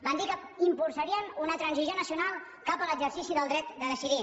van dir que impulsarien una transició nacional cap a l’exercici del dret de decidir